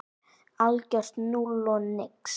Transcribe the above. Algjört núll og nix.